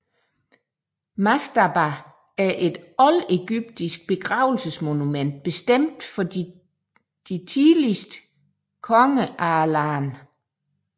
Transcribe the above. Mastaba er et oldegyptisk begravelsesmonument bestemt for de tidligste konger af landet